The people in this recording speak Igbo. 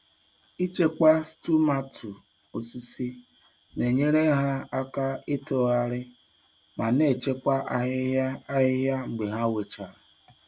Ichekwa stumatu osisi na-enyere ha aka itoghari ma na-echekwa ahịhịa ahịhịa mgbe ha wechara.